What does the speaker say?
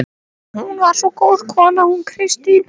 Hún var svo góð kona hún Kristín.